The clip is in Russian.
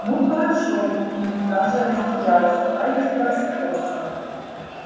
ну хорошо бинс даже растерялся дайте-ка вспомнить